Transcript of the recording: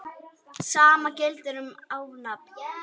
Sama gildir um afnámu.